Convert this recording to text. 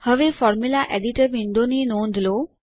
હવે formula editor window ની નોંધ લો